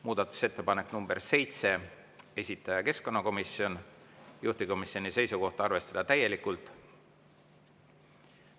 Muudatusettepanek nr 7, esitanud keskkonnakomisjon, juhtivkomisjoni seisukoht on arvestada täielikult.